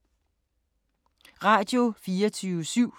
Radio24syv